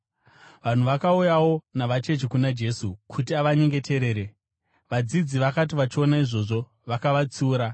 Vanhu vakauyawo navacheche kuna Jesu kuti avanyengeterere. Vadzidzi vakati vachiona izvozvo, vakavatsiura.